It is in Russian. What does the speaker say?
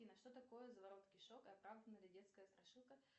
афина что такое заворот кишок и оправдана ли детская страшилка